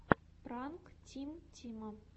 пранк тим тима